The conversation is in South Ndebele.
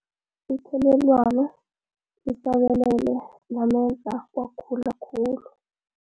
Ithelelwano lisabalele lamenza wagula khulu.